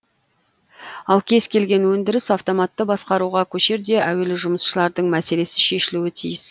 ал кез келген өндіріс автоматты басқаруға көшерде әуелі жұмысшылардың мәселесі шешілуі тиіс